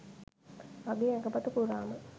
මගේ ඇඟපත පුරාම